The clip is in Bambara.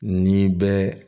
Ni bɛ